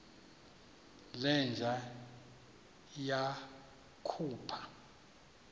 le nja yakhupha